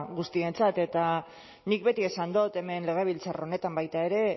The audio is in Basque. guztientzat eta nik beti esan dut hemen legebiltzar honetan baita ere